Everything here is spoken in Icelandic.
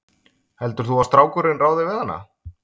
Heldur þú að strákurinn ráði við hana?